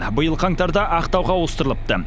биыл қаңтарда ақтауға ауыстырылыпты